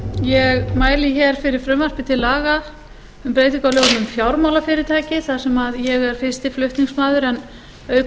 ég mæli hér fyrir frumvarpi til laga um breytingu á lögum um fjármálafyrirtæki þar sem ég er fyrsti flutningsmaður en auk